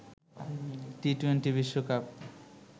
T twenty বিশ্বকাপ